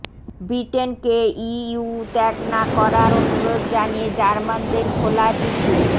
ব্রিটেনকে EU ত্যাগ না করার অনুরোধ জানিয়ে জার্মানদের খোলা চিঠি